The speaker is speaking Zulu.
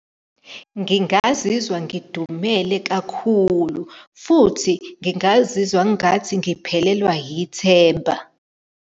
Ngingazizwa ngidumele kakhulu, futhi ngingazizwa ngathi ngiphelelwa yithemba.